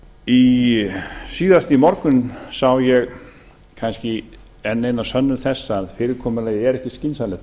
umræðu síðast í morgun sá ég kannski enn eina sönnun þess að fyrirkomulagið er ekki skynsamlegt að